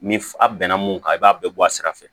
Ni a bɛnna mun kan i b'a bɛɛ bɔ a sira fɛ